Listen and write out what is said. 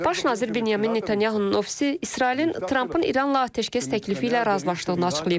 Baş nazir Binyamin Netanyahunun ofisi İsrailin Trampın İranla atəşkəs təklifi ilə razılaşdığını açıqlayıb.